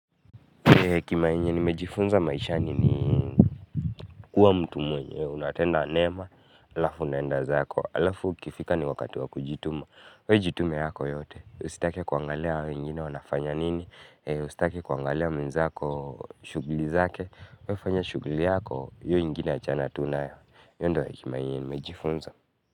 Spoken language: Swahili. Kimainye nimejifunza maisha ni kuwa mtu mwenye, unatenda mema, alafu nenda zako, alafu kifika ni wakati wa kujituma we jitume yako yote, usitake kuangalia wengine wanafanya nini, usitake kuangalia mwenzako, shughuli zake we fanya shuguli yako, hiyo nyingine achana tu nayo, hiyo ndo kimainye nimejifunza.